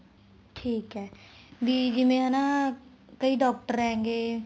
ਠੀਕ ਹੈ ਵੀ ਜਿਵੇਂ ਹਨਾ ਕਈ doctor ਹੈਗੇ